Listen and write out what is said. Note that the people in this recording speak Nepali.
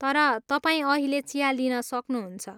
तर, तपाईँ अहिले चिया लिन सक्नुहुन्छ।